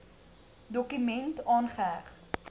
dokument aangeheg